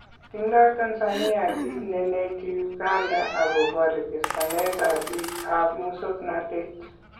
Tindo Tanzania kiit nenetii Uganda akoboo rechestaneetab biikab mosoknotet